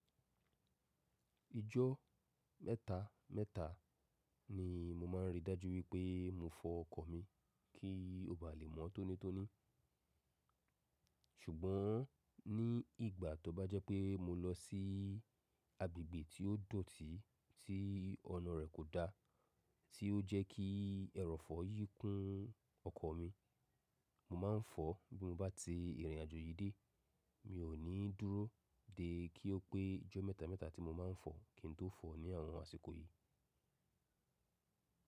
Ijọ mẹ́ta mẹ́ta ni mo má ń rí i dájú wípé mo fọ ọkọ̀ mi kí ó bá lè mọ́ tónítóní. Ṣùgbọ́n ní ìgbà tó bá jẹ́ pé mo lọ sí agbègbè tí ó dọ̀tí tí ọ̀nà rẹ̀ kò da, tí ó jẹ́ kí ẹrọ̀fọ̀ yíkún ọkọ̀ mi, mo má ń fọ bí mo bá ti ìrìnàjò yìí dé. Mi ò ní dúró dé kí ó pé ijọ́ mẹ́ta mẹ́ta tí mo má ńfọ kí n tó fọ ní àwọn àsìkò yìí.